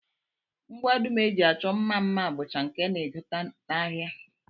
Ngwa dum e ji achọ mma mma bụcha nke a na-egote n'ahịa